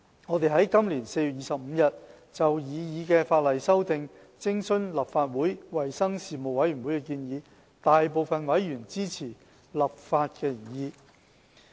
我們在今年4月25日就擬議的法例修訂，徵詢立法會衞生事務委員會的意見，大部分委員均支持立法的原意。